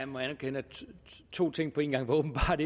må erkende at to ting på en gang åbenbart